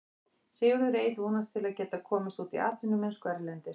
Sigurður Egill vonast til að geta komist út í atvinnumennsku erlendis.